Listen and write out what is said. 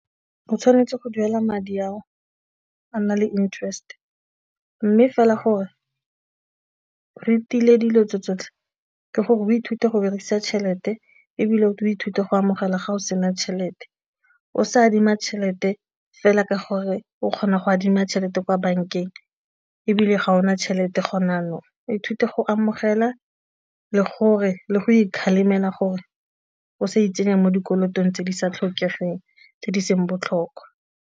O tshwanetse go duela madi ao a nna le interest mme fela gore re tile dilo tse tsotlhe ke gore o ithute go berekisa tšhelete ebile o ithute go amogela ga go sena tšhelete o sa adima tšhelete fela ka gore o kgona go adima tšhelete kwa bankeng ebile ga o na tšhelete gona jaanong. Ithute go amogela le gore le go ikgalemela gore o sa itsenya mo dikolotong tse di sa tlhokegeng tse di seng botlhokwa.